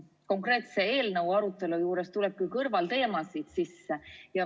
Konkreetse eelnõu arutelu juures tulebki kõrvalteemasid sisse.